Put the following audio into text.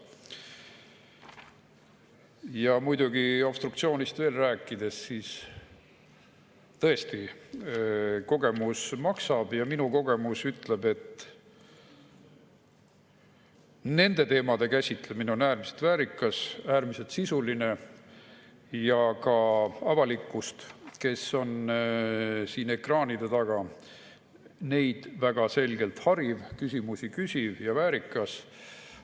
Ja muidugi, obstruktsioonist veel rääkides, tõesti, kogemus maksab ja minu kogemus ütleb, et nende teemade käsitlemine on äärmiselt väärikas, äärmiselt sisuline ja ka avalikkust, kes on ekraanide taga, väga selgelt hariv, küsimusi küsiv ja väärikas.